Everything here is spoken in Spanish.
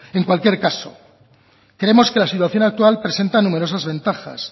en cualquier caso creemos que la situación actual presenta numerosas ventajas